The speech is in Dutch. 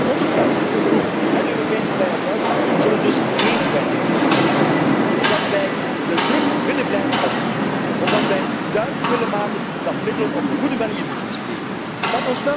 Onze fractie, de Groenen, en de Europese Vrije Alliantie zullen dus geen kwijting verlenen aan de Raad, omdat wij de druk willen blijven opvoeren, omdat wij duidelijk willen maken dat middelen op een goede manier besteed moeten worden.